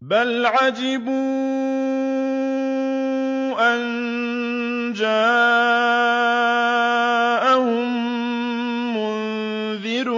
بَلْ عَجِبُوا أَن جَاءَهُم مُّنذِرٌ